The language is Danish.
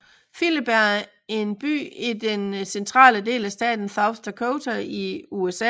Philip er en by i den centrale del af staten South Dakota i USA